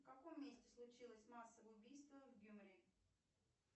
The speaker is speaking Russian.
в каком месте случилось массовое убийство